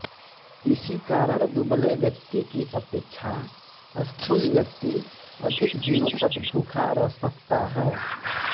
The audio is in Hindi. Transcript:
इसी कारण दुबले व्यक्ति की अपेक्षा स्थूल व्यक्ति अधिक दिनों तक भूखा रह सकता है